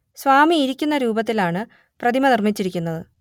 സ്വാമി ഇരിക്കുന്ന രൂപത്തിൽ ആണ് പ്രതിമ നിർമ്മിച്ചിരിക്കുന്നത്